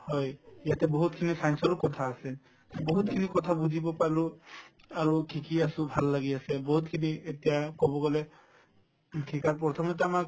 হয়, ইয়াতে বহুতখিনি science ৰো কথা আছে বহুতখিনি কথা বুজিব পালো আৰু শিকি আছো ভাল লাগি আছে বহুতখিনি এতিয়া কব গলে শিকাৰ প্ৰথমতে আমাক